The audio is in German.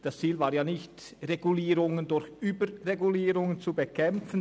Das Ziel bestand ja nicht darin, Regulierungen durch Überregulierung zu bekämpfen.